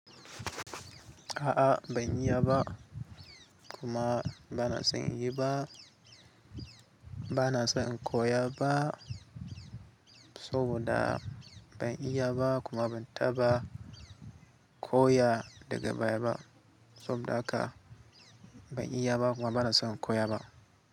A'a ban iya ba kuma ba na son in yi ba. Bana son in koya ba, saboda ban iya ba kuma ban taɓa koya daga baya ba. Saboda haka ban iya ba kuma bana son in koya ba.